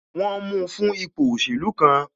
Wọn mu fún ipò òṣèlú kan